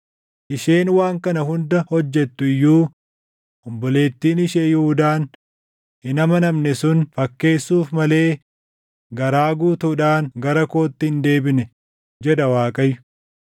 Isheen waan kana hunda hojjettu iyyuu obboleettiin ishee Yihuudaan hin amanamne sun fakkeessuuf malee garaa guutuudhaan gara kootti hin deebine” jedha Waaqayyo.